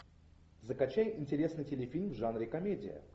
закачай интересный телефильм в жанре комедия